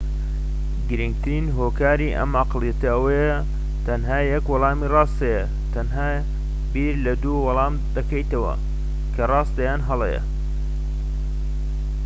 گرنگترین هۆکاری ئەم ئەقڵیەتە ئەوەیە : تەنیا یەک وەڵامی ڕاست هەیە. تەنها بیر لە دوو وەڵام دەکەیتەوە، کە راستە یان هەڵەیە